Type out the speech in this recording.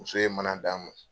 Muso ye mana d'na ma.